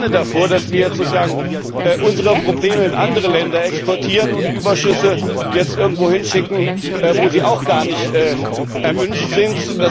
Aber ich warne davor, dass wir jetzt sozusagen unsere Probleme in andere Länder exportieren und Überschüsse jetzt irgendwo hinschicken, wo sie auch gar nicht erwünscht sind.